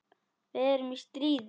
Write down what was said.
Við erum í stríði.